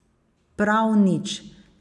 Prav nič.